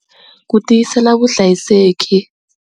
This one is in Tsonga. Ku tiyisela vuhlayiseki.